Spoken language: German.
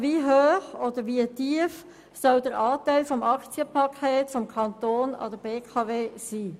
Wie hoch soll der Anteil des Aktienpakets des Kantons an der BKW sein?